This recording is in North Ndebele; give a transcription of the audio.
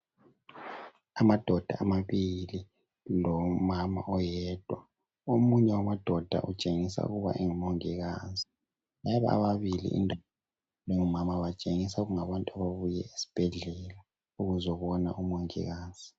Amadoda amabili lomama oyedwa. Omunye wamadoda utshengisa ukuba ngumongikazi. Laba ababili indoda lomama batshengisa kungabantu ababuye esibhedlela ukuzobona umongikazi.